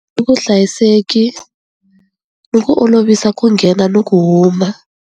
I vuhlayiseki ni ku olovisa ku nghena ni ku huma.